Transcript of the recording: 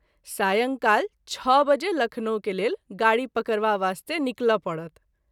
सायंकाल छ: बजे लखनऊ के लेल गाड़ी पकरवा बास्ते निकल’ परत।